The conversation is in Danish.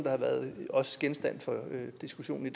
har været genstand for diskussion i